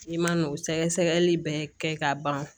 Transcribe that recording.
I man'o sɛgɛsɛgɛli bɛɛ kɛ ka ban